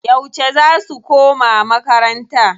Yauce za su koma makarnata?